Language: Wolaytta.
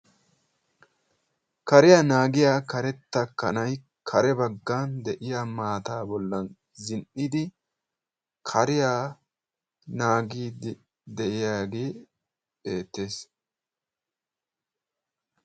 Kariyaa naagiya karetta kanay kare baggan de'iya maataa bollan zin''idi kariya naagidi de'yagee beettees.